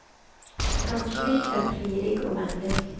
Hans blick är plirig och vänlig.